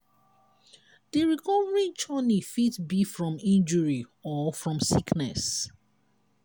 di recovery journey fit be from injury or from sickness